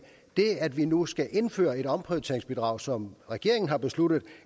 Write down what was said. det at vi nu skal indføre et omprioriteringsbidrag som regeringen har besluttet